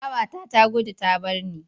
Babata ta gudu ta bar ni.